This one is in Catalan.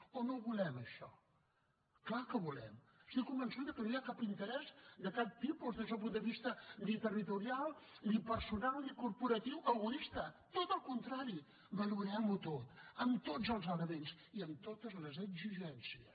o no volem això clar que ho volem estic convençuda que no hi ha cap interès de cap tipus des del punt de vista ni territorial ni personal ni corporatiu egoista tot al contrari valorem ho tot amb tots els elements i amb totes les exigències